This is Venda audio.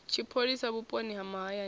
tshipholisa vhuponi ha mahayani na